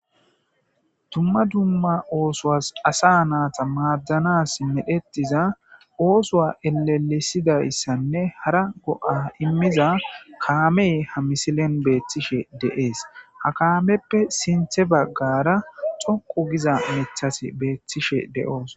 Dumma dumma oosoas asa naata maaddanas medhettiza oosoa elelisidayssanne hara go'a immiza kaamey ha misilen beethtishe deees ha kaameppe sinthe baggara xoqu giza mithas beethtishe de'oos.